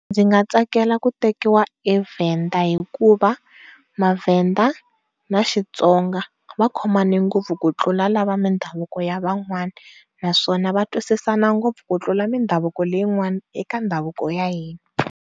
Ndzi nga tsakela ku tekiwa eVenda hikuva maVenda na Xitsonga va khomane ngopfu ku tlula lava va mindhavuko ya van'wana, naswona va twisisana ngopfu ku tlula mindhavuko leyin'wana eka ndhavuko wa hina'